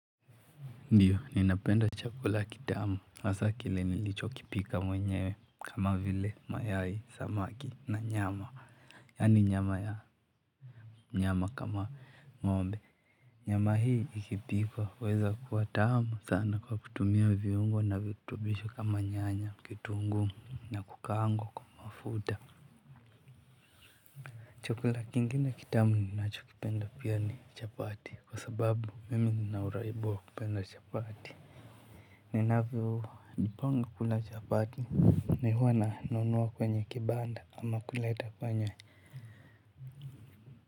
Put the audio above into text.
Ndiyo, ninapenda chakula kitamu, hasa kile nilichokipika mwenyewe, kama vile, mayai, samaki, na nyama yani nyama ya nyama kama ngombe. Nyama hii ikipikwa, huweza kuwa tamu sana kwa kutumia viungo na virutubisho kama nyanya kitungu na kukaangwa kwa mafuta. Chakula kingi na kitamu ninachokipenda pia ni chapati, kwa sababu mimi nina uraibu wa kupenda chapati ninavyo panga kula chapati ni huwa nanunua kwenye kibanda ama kule itafanya.